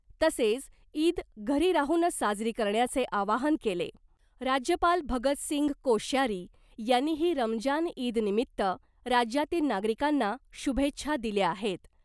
तसेच ईद घरी राहूनच साजरी करण्याचे आवाहन केले. राज्यपाल भगत सिंग कोश्यारी यांनीही रमजान ईदनिमित्त राज्यातील नागरिकांना शुभेच्छा दिल्या आहेत .